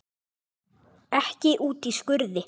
Ekki úti í skurði.